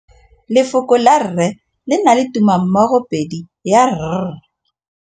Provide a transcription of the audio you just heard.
Lefoko la rre le na le tumammogôpedi ya, r.